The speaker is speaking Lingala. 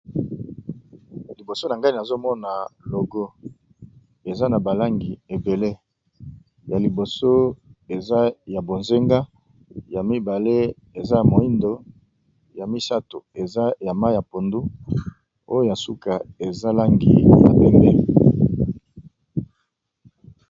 Liboso na ngai nazomona logo eza na ba langi ebele ya liboso eza ya bozenga ya mibale eza moindo ya misato eza ya mayi ya pondu oya suka eza langi ya pembe.